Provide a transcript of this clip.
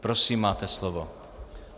Prosím, máte slovo.